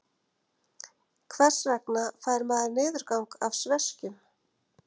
Hvers vegna fær maður niðurgang af sveskjum?